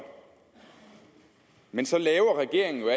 men så laver regeringen